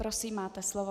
Prosím, máte slovo.